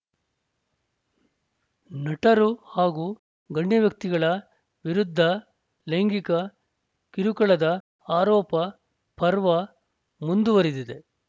ನಟರು ಹಾಗೂ ಗಣ್ಯ ವ್ಯಕ್ತಿಗಳ ವಿರುದ್ಧ ಲೈಂಗಿಕ ಕಿರುಕುಳದ ಆರೋಪ ಪರ್ವ ಮುಂದುವರೆದಿದೆ